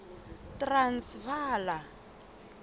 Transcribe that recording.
transvala